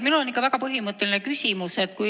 Minul on ikka väga põhimõtteline küsimus.